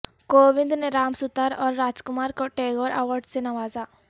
کووند نے رام ستار اور راج کمار کو ٹیگور ایوارڈ سے نوازا